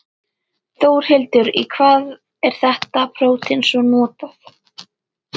Þórhildur, í hvað er þetta prótein svo notað?